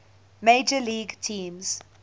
major league teams